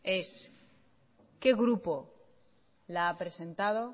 es qué grupo la ha presentado